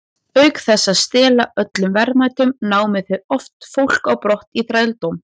Auk þess að stela öllum verðmætum, námu þeir oft fólk á brott í þrældóm.